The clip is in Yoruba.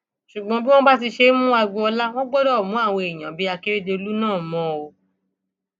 ṣùgbọn bí wọn bá ti ṣe ń mú agboola wọn gbọdọ mú àwọn èèyàn bíi akérèdọlù náà mọ ọn o